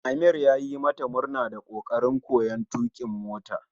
Amir yayi mata murna da kokarin koyon tukin mota